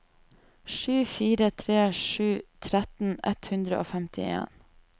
sju fire tre sju tretten ett hundre og femtien